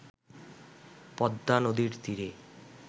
পদ্মা নদীর তীরে